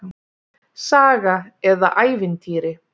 Saga eða ævintýri.